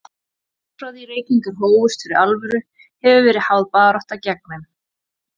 Allt frá því reykingar hófust fyrir alvöru, hefur verið háð barátta gegn þeim.